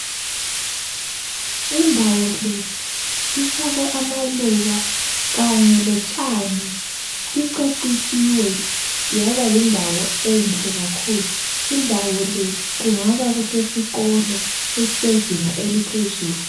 Indawo le, ifakwe amaluba kanye lotshani, icecisiwe yaba yindawo enhle kakhulu, indawo le, kungaba kusesikolo esezinga eliphezulu.